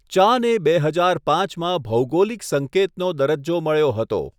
ચાને બે હજાર પાંચમાં ભૌગોલિક સંકેતનો દરજ્જો મળ્યો હતો.